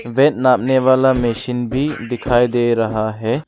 Wait नापने वाला machine भी दिखाई दे रहा है।